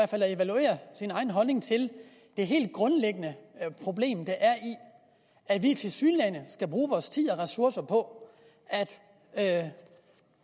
fald at evaluere sin egen holdning til det helt grundlæggende problem der er i at vi tilsyneladende skal bruge vores tid og ressourcer på at